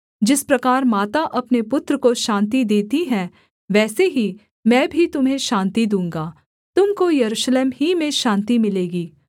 जिस प्रकार माता अपने पुत्र को शान्ति देती है वैसे ही मैं भी तुम्हें शान्ति दूँगा तुम को यरूशलेम ही में शान्ति मिलेगी